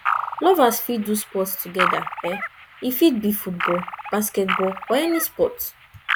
lovers fit do sport together e e fit be football basketball or any sport